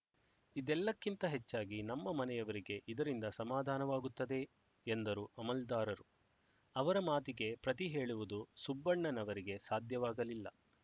ಇದೆಲ್ಲಕ್ಕಿಂತ ಹೆಚ್ಚಾಗಿ ನಮ್ಮ ಮನೆಯವರಿಗೆ ಇದರಿಂದ ಸಮಾಧಾನವಾಗುತ್ತದೆ ಎಂದರು ಅಮಲ್ದಾರರು ಅವರ ಮಾತಿಗೆ ಪ್ರತಿ ಹೇಳುವುದು ಸುಬ್ಬಣ್ಣನವರಿಗೆ ಸಾಧ್ಯವಾಗಲಿಲ್ಲ